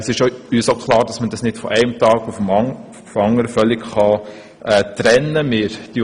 Es ist uns auch klar, dass man die beiden nicht von einem Tag auf den anderen völlig trennen kann.